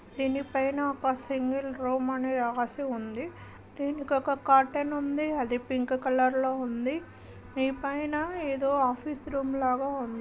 దీనిపైన ఒక single room అని రాసుంది దీనికొక కర్టెన్ వుంది ఆ కర్టెన్ పింక్ కలర్ లో వుంది ఈ పైన ఏదో ఆఫీస్ రూమ్ లాగ వుంది.